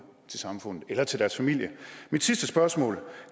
til samfundet eller til deres familie mit sidste spørgsmål